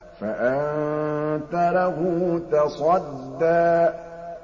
فَأَنتَ لَهُ تَصَدَّىٰ